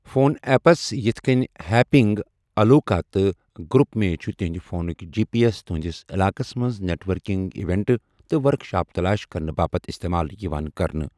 Phone apps یِتھ کٔنۍ happening, الوکَا تہٕ گروپ می چھُ تُہنٛدِ فونُک جی پی ایس تُہنٛدِس علاقَس منٛز نیٹ ورکنگ ایونٹہٕ تہٕ ورکشاپ تلاش کرنہٕ باپتھ استعمال یِوان کرنہٕ۔